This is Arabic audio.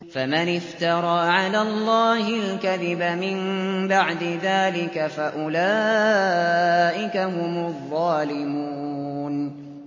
فَمَنِ افْتَرَىٰ عَلَى اللَّهِ الْكَذِبَ مِن بَعْدِ ذَٰلِكَ فَأُولَٰئِكَ هُمُ الظَّالِمُونَ